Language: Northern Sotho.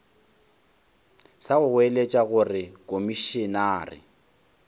sa go goeletša gore komišenare